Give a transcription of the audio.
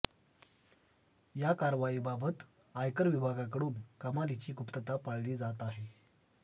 या कारवाईबाबत आयकर विभागाकडून कमालीची गुप्तता पाळली जात आहे